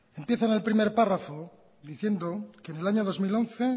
empieza en el primer párrafo diciendo que en el año dos mil once